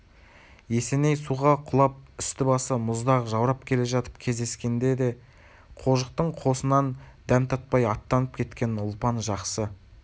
есеней суға құлап үсті-басы мұздақ жаурап келе жатып кездескенде де қожықтың қосынан дәм татпай аттанып кеткенін ұлпан жақсы